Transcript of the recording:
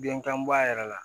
Denkanba yɛrɛ la